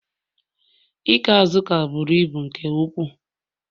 Ikee Azuka buru ibu nke ukwuu